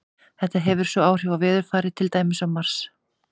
Þetta hefur svo áhrif á veðurfarið, til dæmis á Mars.